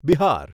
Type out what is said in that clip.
Bihar